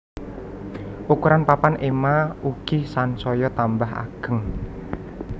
Ukuran papan ema ugi sansaya tambah ageng